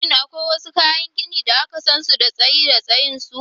Shin akwai wasu kayan gini da aka san su da tsayi da tsayin su?